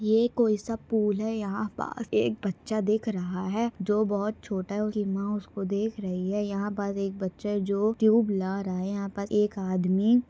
ये कोइसा पूल है यहाँ पा एक बच्चा देख रहा है। जो बहुत छोटा है उसकी माँ उसको देख रही है। यहाँ पर एक बच्चा जो ट्यूब ला रहा है यहाँ पर एक आदमी--